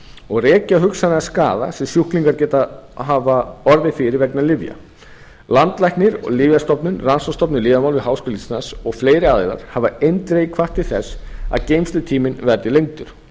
og rekja hugsanlegan skaða sem sjúklingar geta hafa orðið fyrir vegna lyfja landlæknir lyfjastofnun rannsóknastofnun um lyfjamál við háskóla íslands og fleiri aðilar hafa eindregið hvatt til þess að geymslutíminn verði lengdur